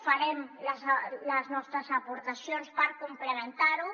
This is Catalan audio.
farem les nostres aportacions per complementar lo